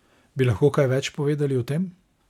Bi lahko kaj več povedali o tem?